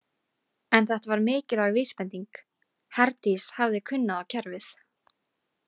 En þetta var mikilvæg vísbending: Herdís hafði kunnað á kerfið.